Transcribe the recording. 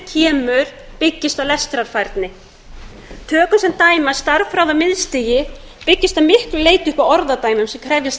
eftir kemur byggist á lestrarfærni tökum sem dæmi að stærðfræði á miðstigi byggist að miklu leyti upp á orðadæmum sem krefjast